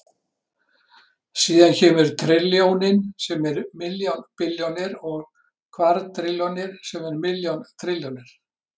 Síðan kemur trilljónin sem er milljón billjónir og kvadrilljón sem er milljón trilljónir.